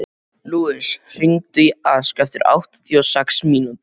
Lúis, hringdu í Ask eftir áttatíu og sex mínútur.